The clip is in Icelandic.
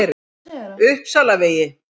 Uppsalavegi